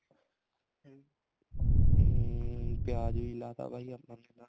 ਹਮ ਪਿਆਜ ਵੀ ਲਾਤਾ ਬਾਈ ਆਪਾਂ ਨੇ ਤਾਂ